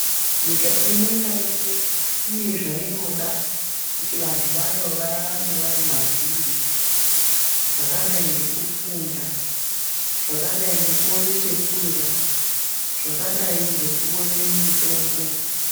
Nyika imweni naimwe inozvainoda kuti vantu vayo vararame vari mazviri zvakadayi ngekufunda zvakadayi nrgekuone chekurya zvakadai ngekuone mitombo.